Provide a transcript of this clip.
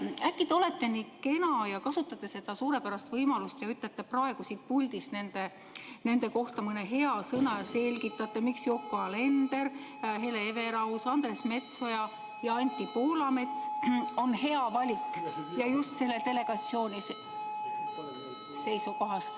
Või äkki te olete nii kena ja kasutate seda suurepärast võimalust ja ütlete praegu siit puldist nende kohta mõne hea sõna ja selgitate, miks Yoko Alender, Hele Everaus, Andres Metsoja ja Anti Poolamets on hea valik just selle delegatsiooni seisukohast.